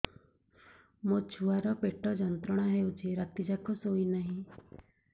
ମୋ ଛୁଆର ପେଟ ଯନ୍ତ୍ରଣା ହେଉଛି ରାତି ଯାକ ଶୋଇନାହିଁ